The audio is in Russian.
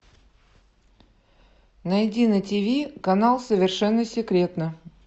найди на тиви канал совершенно секретно